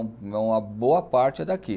Uma boa parte é daqui.